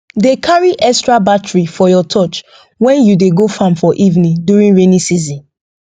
dey carry extra battery for your torch when you dey go farm for evening during rainy season